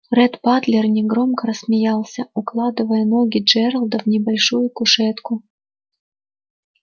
ретт батлер негромко рассмеялся укладывая ноги джералда в небольшую кушетку